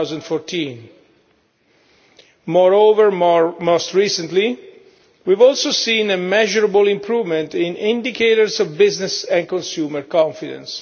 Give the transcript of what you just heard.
2014. Moreover, most recently, we have also seen a measurable improvement in indicators of business and consumer confidence.